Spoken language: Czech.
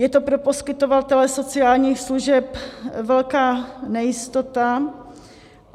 Je to pro poskytovatele sociálních služeb velká nejistota.